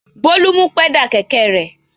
Bólú mú pẹ́dà kẹ̀kẹ́ rẹ̀.